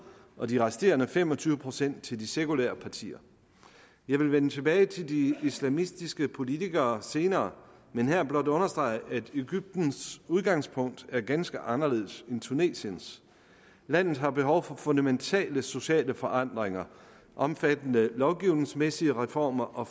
og de resterende fem og tyve procent til de sekulære partier jeg vil vende tilbage til de islamistiske politikere senere men her blot understrege at egyptens udgangspunkt er ganske anderledes end tunesiens landet har behov for fundamentale sociale forandringer omfattende lovgivningsmæssige reformer og